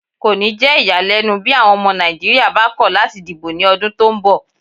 Kò ni jẹ́ iyalẹ́nu bí àwọn ọmọ Nàìjíríyà bá ko lati dìbò ni odun tó ń bọ̀